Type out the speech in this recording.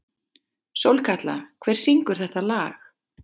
Sólkatla, hver syngur þetta lag?